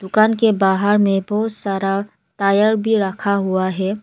दुकान के बाहर में बहोत सारा टायर भी रखा हुआ है।